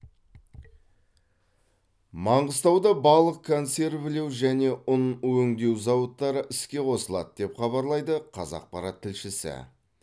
маңғыстауда балық консервілеу және ұн өңдеу зауыттары іске қосылады деп хабарлайды қазақпарат тілшісі